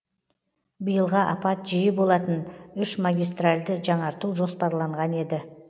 биылға апат жиі болатын үш магистральді жаңарту жоспарланған еді